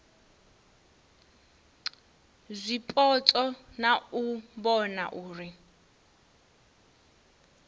zwipotso na u vhona uri